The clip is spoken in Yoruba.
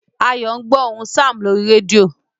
Ayo ń gbó ohùn Sam lórí rédíò